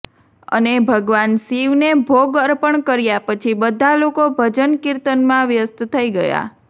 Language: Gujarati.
અને ભગવાન શિવને ભોગ અર્પણ કર્યા પછી બધા લોકો ભજન કીર્તનમાં વ્યસ્ત થઈ ગયા